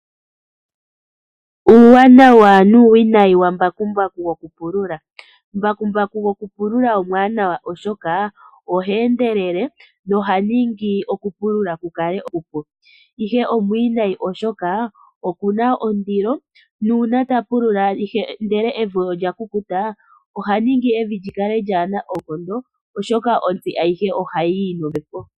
Uuwanawa nuuwinayi wambakumbaku gokupulula. Mbakumbaku gokupulula omwaanawa, oshoka ohe endelele ye oha ningi okupulula ku kale okupu, ihe omwiinayi oshoka oku na ondilo nuuna ta pulula ndele evi olya kukuta oha ningi evi li kale lyaana oonkondo, oshoka ontsi ayihe ohayi yi nombepo.